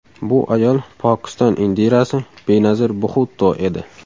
Bu ayol Pokiston Indirasi – Benazir Bxutto edi.